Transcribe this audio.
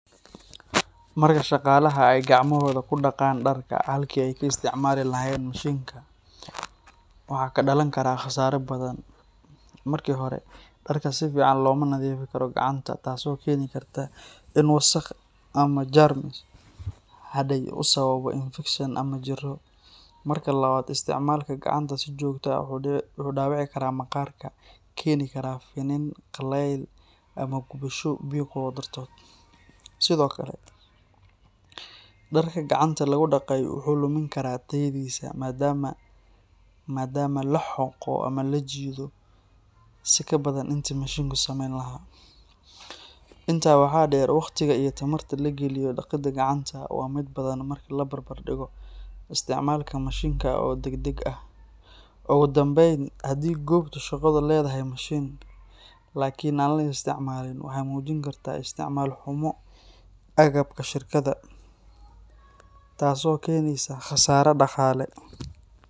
Marka shaqaalaha ay gacmahooda ku dhaqaan dharka halkii ay ka isticmaali lahaayeen mashiinka, waxaa ka dhalan kara khasaare badan. Marka hore, dharka si fiican looma nadiifin karo gacanta, taasoo keeni karta in wasakh ama jeermis hadhay uu sababo infekshan ama jirro. Marka labaad, isticmaalka gacanta si joogto ah wuxuu dhaawici karaa maqaarka, keeni kara finan, qallayl ama gubasho biyo kulul dartood. Sidoo kale, dharka gacanta lagu dhaqay wuxuu lumin karaa tayadiisa maadaama la xoqo ama la jiido si ka badan intii mashiinku sameyn lahaa. Intaa waxaa dheer, waqtiga iyo tamarta la geliyo dhaqidda gacanta waa mid badan marka la barbar dhigo isticmaalka mashiinka oo degdeg ah. Ugu dambayn, haddii goobta shaqadu leedahay mashiin, laakiin aan la isticmaalin, waxay muujin kartaa isticmaal xumo agabka shirkadda, taasoo keenaysa khasaare dhaqaale.